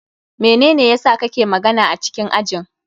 Menene yasa ka ke magana a cikin ajin?